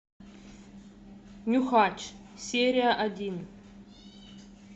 нюхач серия один